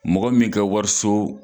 Mɔgɔ min ka wariso